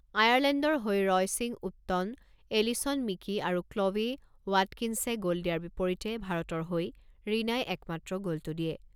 আয়াৰলেণ্ডৰ হৈ Roisin Upton, Alison Meeke আৰু ক্ল'ৱে ৱাটকিন্‌ছে গ'ল দিয়াৰ বিপৰীতে ভাৰতৰ হৈ ৰীণাই একমাত্ৰ গ'লটো দিয়ে।